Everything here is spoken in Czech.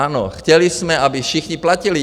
Ano, chtěli jsme, aby všichni platili.